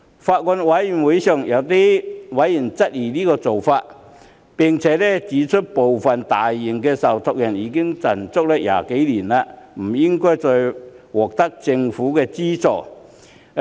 法案委員會上有委員質疑這個做法，並指出部分較大型的受託人已經賺了20年，不應再獲得政府資助。